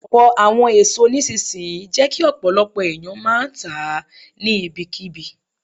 Ọ̀pọ̀ àwọn èso nísinsìnyí jẹ́ kí ọ̀pọ̀lọpọ̀ ẹ̀yàn máa tà á ní ibi kí bi.